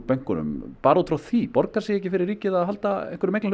bönkunum bara út frá því borgar sig ekki fyrir ríkið að halda